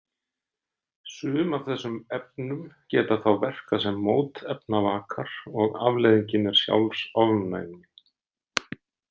Sum af þessum efnum geta þá verkað sem mótefnavakar og afleiðingin er sjálfsofnæmi.